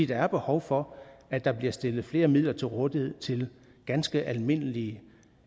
der er behov for at der bliver stillet flere midler til rådighed til ganske almindelige